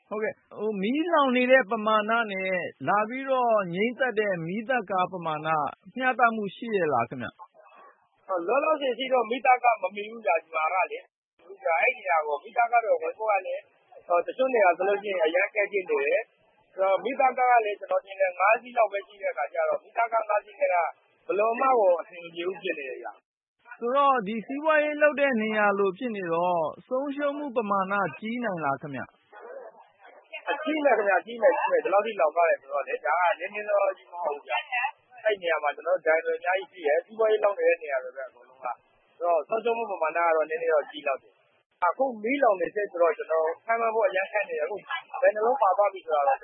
ဟုတ်ကဲ့၊ မီးလောင်နေတဲ့ ပမာဏနဲ့ လာငြိမ်းသတ်တဲ့ မီးသတ်ကား ပမာဏက မျှတမှုရှိရဲ့လားခင်ဗျ။ လောလောဆယ်အထိ မီးသတ်ကား မမှီဘူးခင်ဗျ ဒီမှာက။ အဲဒီနေရာကို မီးသတ်ကား ဝင်ဖို့က တချို့နေရာတွေဆို ဝင်ဖို့ အရမ်းခက်ခဲနေတယ်။ မီးသတ်ကားကလည်း ကျနော်ထင်တယ် ၅-စီးလောက်ပဲ ရှိတဲ့အခါကျတော့ ဒီမီးသတ်ကား ၅ စီးနဲ့က ဘယ်လိုမှကို အဆင်မပြေဘူး ဖြစ်နေတယ်။ ဆိုတော့ လောင်တဲ့နေရာက စီးပွားရေး လုပ်တဲ့နေရာလို ဖြစ်နေတော့ ဆုံးရှုံးမှုပမာဏ ကြီးနိုင်လားခင်ဗျ။ ကြီးမယ်ခင်ဗျ.. ကြီးမယ်… ကြီးမယ်။ ဒီလောက်ထိ လောင်သွားတာ ဆိုတော့လေ။ ဒါက နည်းနည်းနောနောကြီး မဟုတ်ဘူးဗျ။ အဲဒီနေရာမှာက ဒိုင်တွေ အများကြီးရှိတယ်။ စီးပွားရေး လုပ်နေတဲ့နေရာတွေပဲ အဲဒီမှာက။ ဆိုတော့ ဆုံးရှုံးမှု ပမာဏက ကြီးလောက်တယ်။ အခုက မီးလောင်နေတုန်းဆိုတော ခန့်မှန်းဖို့ အရမ်းခက်နေတယ်။ ဘယ်နှယ်လုံး ပါသွားပြီလဲဆိုတာ ကျ